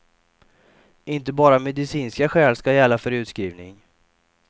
Inte bara medicinska skäl ska gälla för utskrivning.